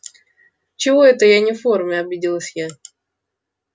чего это я не в форме обиделась я